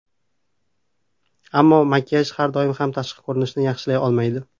Ammo makiyaj har doim ham tashqi ko‘rinishni yaxshilay olmaydi.